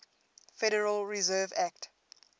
federal reserve act